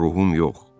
Ruhum yox.